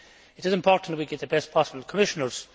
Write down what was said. It is important that we get the best possible Commissioners.